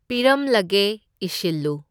ꯄꯤꯔꯝꯂꯒꯦ ꯏꯁꯤꯜꯂꯨ꯫